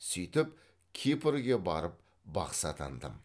сөйтіп кипрге барып бақсы атандым